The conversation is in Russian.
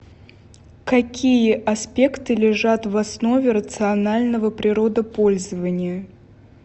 какие аспекты лежат в основе рационального природопользования